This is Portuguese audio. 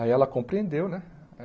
Aí ela compreendeu, né?